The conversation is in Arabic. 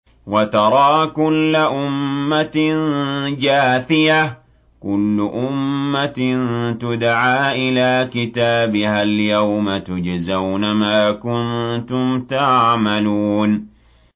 وَتَرَىٰ كُلَّ أُمَّةٍ جَاثِيَةً ۚ كُلُّ أُمَّةٍ تُدْعَىٰ إِلَىٰ كِتَابِهَا الْيَوْمَ تُجْزَوْنَ مَا كُنتُمْ تَعْمَلُونَ